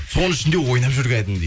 соның ішінде ойнап жүр кәдімгідей